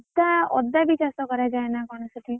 ଅଦା ଅଦା ବି ଚାଷ କରାଯାଏ ନା କଣ ସେଠି?